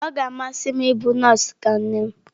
Ọ ga-amasị m ịbụ nọọsụ ka nne m.